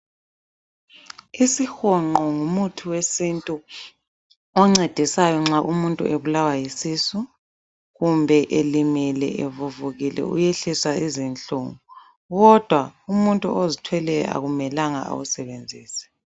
Isihonqo ngumuthi wesintu oncedisayo nxa umuntu ebulawa yisisu kumbe elimele evuvukile uyehlisa izinhlungu kodwa umuntu ozithweleyo akumela awusebenzise.